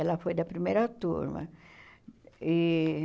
Ela foi da primeira turma. E